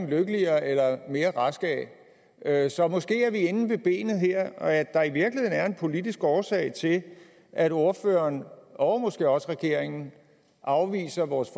lykkeligere eller mere raske af så måske er vi inde ved benet her at der i virkeligheden er en politisk årsag til at ordføreren og måske også regeringen afviser vores